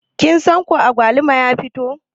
Kin san ko agwaluma ya fito?